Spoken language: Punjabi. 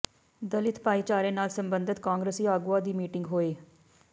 ਦਲਿਤ ਭਾਈਚਾਰੇ ਨਾਲ ਸਬੰਧਤ ਕਾਂਗਰਸੀ ਆਗੂਆਂ ਦੀ ਮੀਟਿੰਗ ਹੋਈ